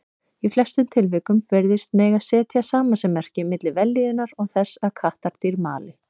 Í flestum tilvikum virðist mega setja samasemmerki milli vellíðunar og þess að kattardýr mali.